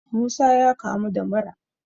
Musa ya kamu da mura